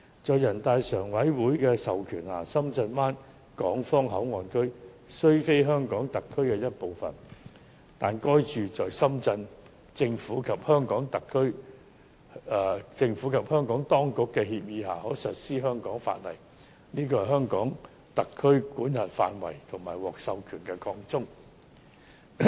在人大常委會的授權下，深圳灣港方口岸區雖非香港特區的一部分，但在深圳政府及香港當局的協議下，該處可實施香港法例，這是香港特區管轄範圍和獲授權的擴充。